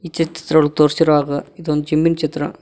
ಈ ಚಿತ್ರದೊಳಗ್ ತೋರ್ಸಿರೋ ಹಾಗ ಇದೊಂದು ಜಿಮ್ ಮಿನ್ ಚಿತ್ರ.